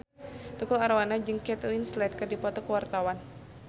Tukul Arwana jeung Kate Winslet keur dipoto ku wartawan